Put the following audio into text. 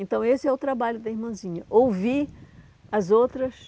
Então, esse é o trabalho da irmãzinha, ouvir as outras,